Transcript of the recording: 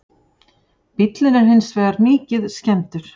Bíllinn er hins vegar mikið skemmdur